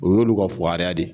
Un y'olu ka fugariya de ye